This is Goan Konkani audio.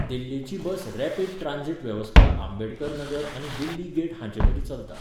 दिल्लीची बस रॅपीड ट्रांझिट वेवस्था आंबेडकर नगर आनी दिल्ली गेट हांचेमदीं चलता.